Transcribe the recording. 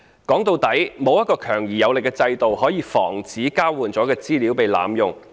說到底，並沒有一個強而有力的制度，可以防止交換了的資料被濫用。